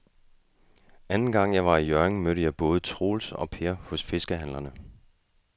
Anden gang jeg var i Hjørring, mødte jeg både Troels og Per hos fiskehandlerne.